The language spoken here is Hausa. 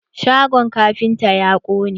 Shagon kafintan ya ƙone.